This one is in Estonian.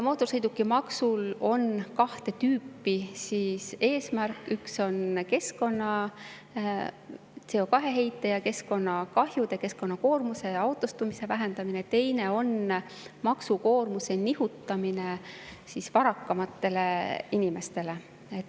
Mootorsõidukimaksul on kahte tüüpi eesmärk: üks on CO2-heite ja keskkonnakahjude, keskkonnakoormuse ja autostumise vähendamine, teine on maksukoormuse nihutamine varakamatele inimestele.